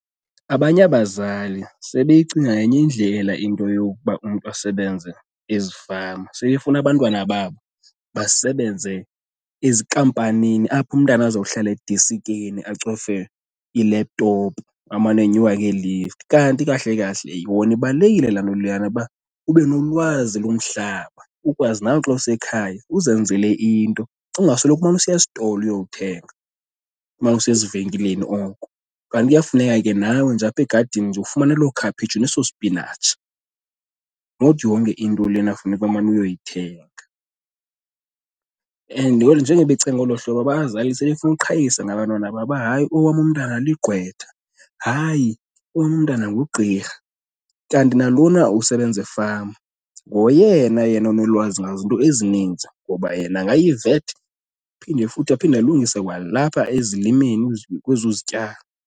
Abanye abazali sebeyicinga ngenye indlela into yokuba umntu asebenze ezifama. Sebefuna abantwana babo basebenze ezinkampanini apho umntana azohlala edesikeni acofe i-laptop amane enyuka ngee-lift. Kanti kahle kahle yona ibalulekile laa nto leyana ba ube nolwazi lomhlaba ukwazi nawe xa usekhaya uzenzele into, ungasoloko umane usiya esitolo uyothenga, umane usiya ezivenkileni oko. Kanti kuyafuneka ke nawe nje apha egadini ufumane loo khaphetshu neso sipinatshi, not yonke into lena funeka umane uyoyithenga. And njengoba becinga olo hlobo abazali sebefuna ukuqhayisa ngabantwana babo uba hayi, owam umntana ligqwetha, hayi owam umntana ngugqirha. Kanti nalona usebenza efama ngoyena yena onolwazi ngazinto ezininzi ngoba yena angayi-vet, phinde futhi aphinde alungise kwalapha ezilimeni kwezo zityalo.